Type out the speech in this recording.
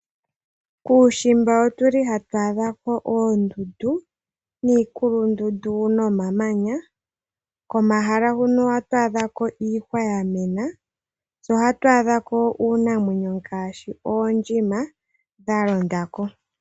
Kuushimba otuli hatu adhako oondundu niikulundundu nomamanya. Komahala huno ohatu adhako iihwa yamena, tse ohatu adhako iinamwenyo ngaashi oondjima dha londa ko.